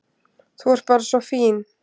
Þú ert bara svo fín.